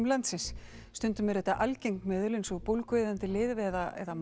landsins stundum eru þetta algeng meðul eins og bólgueyðandi lyf eða